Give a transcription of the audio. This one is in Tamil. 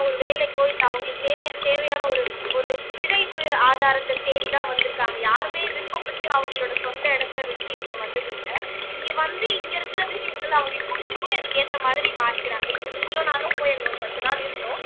ஒரு வேலைக்கோ இல்ல அவங்களுக்கு தேவையான ஒரு ஒரு பிழைப்பு ஆதாரத்தை தேடிதான் வந்திருக்காங்க யாருமே விருப்பப்பட்டு அவங்களோட சொந்த இடத்தை விட்டு இங்க வந்தது இல்ல இங்க வந்து இங்க இருக்கிற விஷயங்கள் அவங்களுக்கு பிடிச்சுப் போய் அதுக்கு ஏத்த மாதிரி மாறிக்கிறாங்க இப்ப நீங்களும் நானும் போய் அங்க ஒரு பத்து நாள் இருந்தோம்